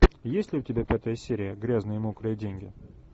есть ли у тебя пятая серия грязные мокрые деньги